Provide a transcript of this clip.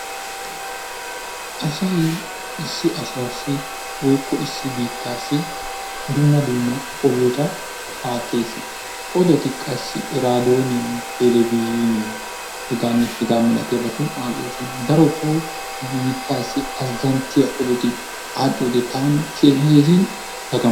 Asayi issi asaassi woykko issi biittaassi dumma dumma odota aattes odoti qassi iraadooniyan telebizhiiniyan hegaannee hegaaa malatiyabatun aadhdhoosona darotoo nu biittaassi azzanttiya odoti aadhdhiyode taani keehin dagamnayis.